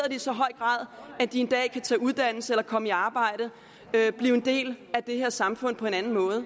så høj grad at de en dag kan tage en uddannelse eller komme i arbejde blive en del af det her samfund på en anden måde